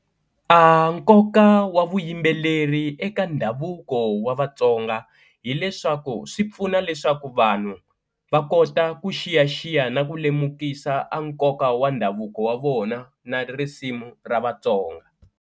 A nkoka wa vuyimbeleri eka ndhavuko wa Vatsonga hileswaku swi pfuna leswaku vanhu va kota ku xiyaxiya na ku lemukisa a nkoka wa ndhavuko wa vona na risimu ra Vatsonga.